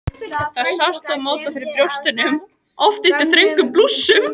Það sást þó móta fyrir brjóstunum, oft undir þröngum blússum.